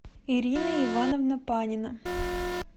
ирина ивановна панина